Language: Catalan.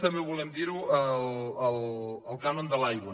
també volem dir ho el cànon de l’aigua